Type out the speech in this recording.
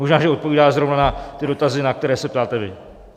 Možná že odpovídá zrovna na ty dotazy, na které se ptáte vy.